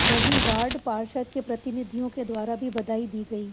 वही वार्ड पार्षद के प्रतिनिधियों के द्वारा भी बधाई दी गई